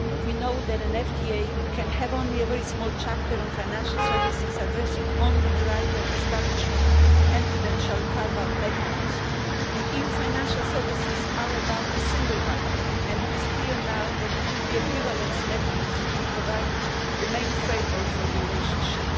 We know that an FTA can have only a very small chapter on financial services, addressing only the right of establishment and prudential carve out mechanism, and EU financial services are about the single market, and it is clear now that it will be an equivalence mechanism that will provide the main framework for the relationship.